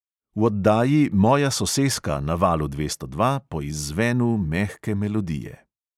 V oddaji "moja soseska" na valu dvesto dva po izzvenu mehke melodije ...